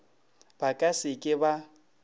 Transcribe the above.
ba ka se ke ba